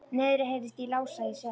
Niðri heyrðist í Lása í Seli.